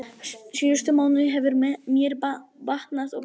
Síðustu mánuði hefur mér batnað og batnað.